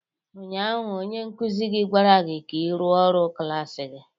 Ụnyaahụ onye nkụzi gị gwara gị ka ị rụọ ọrụ klas gị!